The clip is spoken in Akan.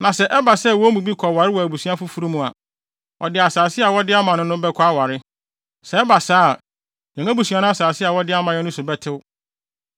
Na sɛ ɛba sɛ wɔn mu bi kɔware wɔ abusua foforo mu a, ɔde asase a wɔde ama no no bɛkɔ aware. Sɛ ɛba saa a, yɛn abusua no asase a wɔde ama yɛn no so bɛtew.